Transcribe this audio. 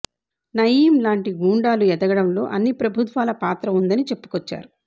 నయీం లాంటి గూండాలు ఎదగడంలో అన్ని ప్రభుత్వాల పాత్ర ఉందని చెప్పుకొచ్చారు